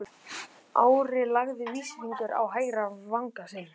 Ari lagði vísifingur á hægri vanga sinn.